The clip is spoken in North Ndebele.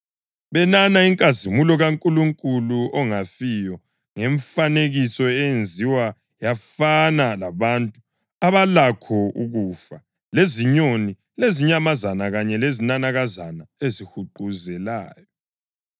benana inkazimulo kaNkulunkulu ongafiyo ngemfanekiso eyenziwa yafana labantu abalakho ukufa lezinyoni lezinyamazana kanye lezinanakazana ezihuquzelayo.